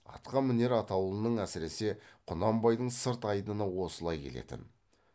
атқа мінер атаулының әсіресе құнанбайдың сырт айдыны осылай келетін